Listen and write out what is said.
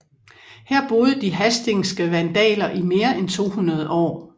Her boede de hasdingske vandaler i mere end 200 år